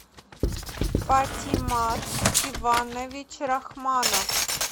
патимат иванович рахманов